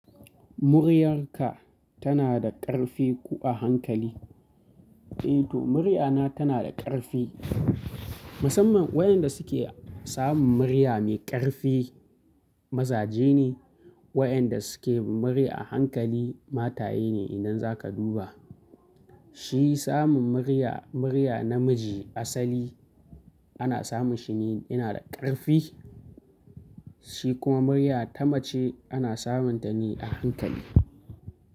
Muryarka tana da ƙarfi ko a hankali? Eh to muryana tana da ƙarfi. Musamman wayanda suke samun murya mai ƙarfi mazaje ne, wayanda suke murya a hankali mataye ne idan za ka duba. Shi samun murya, murya namiji asali ana samun shi ne yana da ƙarfi shi kuma murya ta mace ana samun ta ne a hankali.